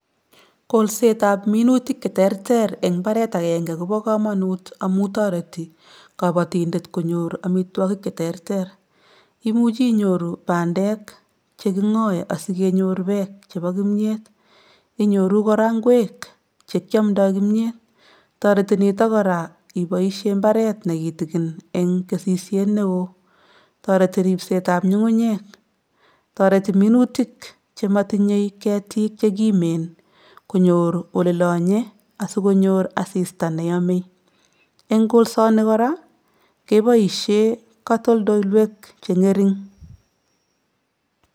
Kolsetab minutik cheterter eng mbaret akenge kobo kamanut amu toreti kabotindet konyor amitwogik che terter, imuchi inyoru bandeek che kingoe asi kenyor beek chebo kimnyet, inyoru kora ngweek che kiamdoi kimnyet, toreti nito kora iboisie mbaret ne kitikin eng kesisiet ne oo, toreti ripsetab nyungunyek, toreti minutik che matinye ketik che kimen konyor ole lonye asi konyor asista ne yome, eng kolsoni kora keboisie katoldolwek che ngering.